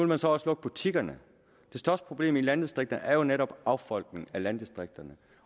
man så også lukke butikkerne det største problem i landdistrikterne er jo netop affolkning af landdistrikterne